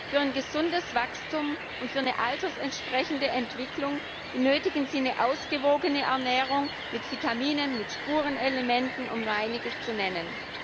Für ein gesundes Wachstum und für eine altersentsprechende Entwicklung benötigen sie eine ausgewogene Ernährung mit Vitaminen, mit Spurenelementen, um nur Einiges zu nennen.